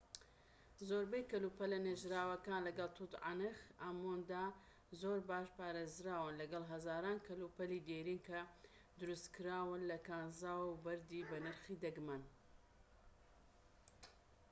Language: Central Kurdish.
زۆربەی کەلوپەلە نێژراوەکان لەگەڵ توت عەنخ ئامووندا زۆر باش پارێزراون لەگەڵ هەزاران کەلوپەلی دێرین کە دروستکراون لە کانزا و بەردی بەنرخی دەگمەن